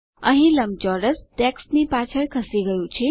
અહીં લંબચોરસ ટેક્સ્ટની પાછળ ખસી ગયું છે